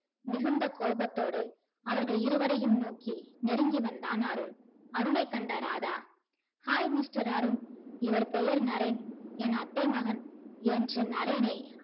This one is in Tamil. மிகுந்தகோபத்தோடு அவர்கள் இருவரையும் நோக்கி நெருங்கி வந்தான் அருண். அருணை கண்ட ராதா hi mister அருண் இவர் பெயர் நரேன் என் அத்தை மகன் என்று நரேனை